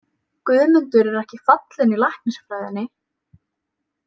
Guðmundur er ekki fallinn í læknisfræðinni?